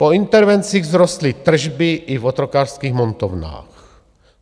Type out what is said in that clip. Po intervencích vzrostly tržby i v otrokářských montovnách.